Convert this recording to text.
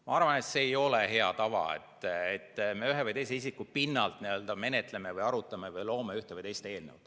Ma arvan, et see ei ole hea tava, et me ühe või teise isiku pinnalt menetleme, arutame või loome ühte või teist eelnõu.